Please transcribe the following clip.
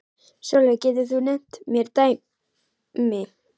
Sólveig: Getur þú nefnt mér dæmi?